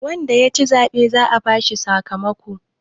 wanda ya ci zaɓe za a bashi sakamakon